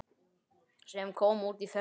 sem kom út í fyrra.